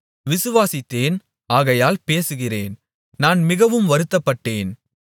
விசுவாசித்தேன் ஆகையால் பேசுகிறேன் நான் மிகவும் வருத்தப்பட்டேன்